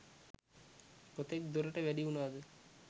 කොතෙක් දුරට වැඩි වුණාද?